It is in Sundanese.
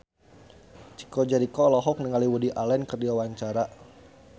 Chico Jericho olohok ningali Woody Allen keur diwawancara